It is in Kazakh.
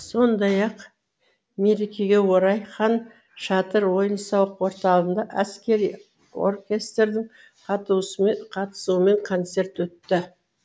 сондай ақ мерекеге орай хан шатыр ойын сауық орталығында әскери оркестрдің қатысуымен концерт өтті